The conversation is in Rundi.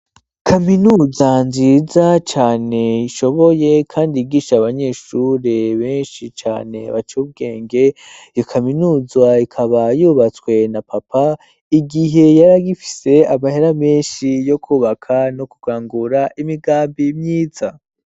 Kaminuza nziza cane ishoboye kandi yigisha abanyeshure benshi cane baciye ubwenge, iyo kaminuza ikaba yubatswe na papa igihe yari agifise amahera menshi yo kubaka no kugangura imigambi myiza.